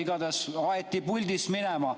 Igatahes aeti puldist minema.